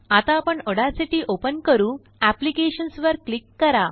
आता आपणAudacityओपन करूApplications वर क्लिक करा